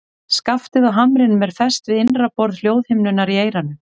Skaftið á hamrinum er fest við innra borð hljóðhimnunnar í eyranu.